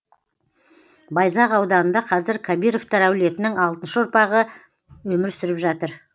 байзақ ауданында қазір кабировтар әулетінің алтыншы ұрпағы өмір сүріп жатыр